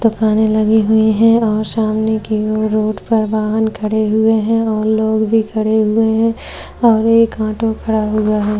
दुकाने लगी हुई है और सामने की ओर रोड पर वाहन खड़े हुए है और लोग भी खड़े हुए है और एक ऑटो खड़ा हुआ है।